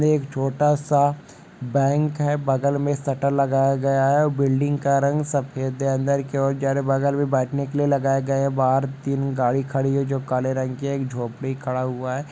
एक छोटा सा बैंक है बगल मे शटर लगाया गया है बिल्डिंग का रंग सफेद है अंदर की और जा रहा है बगल मे बैठने के लिए लगाया गया है बाहर तीन गाड़ी खड़ी है जो काले रंग की है एक झोपड़ी खड़ा हुआ है ।